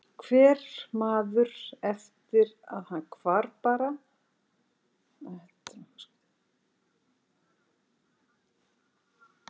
Hver maður eftir að hann hvarf bara til í minni samferðamanna.